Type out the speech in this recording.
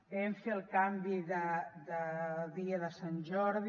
vam fer el canvi de dia de sant jordi